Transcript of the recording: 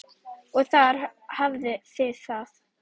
Og þar hafið þið það!